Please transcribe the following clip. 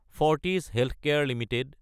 Fortis healthcare Ltd